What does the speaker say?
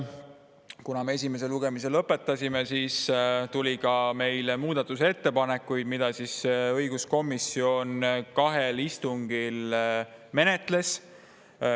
Kuna me esimese lugemise lõpetasime, siis tuli ka meile muudatusettepanekuid, mida õiguskomisjon kahel istungil menetles.